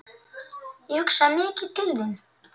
Ég hugsaði mikið til þín.